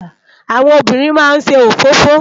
Áwòn óbìrín má n sé ófófó